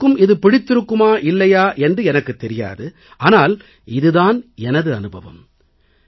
அனைவருக்கும் இது பிடித்திருக்குமா இல்லையா என்று எனக்குத் தெரியாது ஆனால் இது தான் எனது அனுபவம்